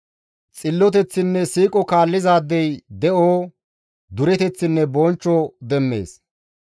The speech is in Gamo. Xilloteththinne siiqo kaallizaadey de7o, dureteththinne bonchcho demmees.